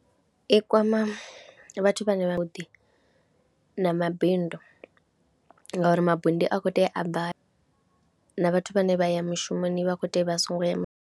I kwama vhathu vhane vhavhuḓi na mabindu ngauri mabindu a khou tea a bva na vhathu vhane vha ya mushumoni vha kho tea vha a songo ya mushumoni.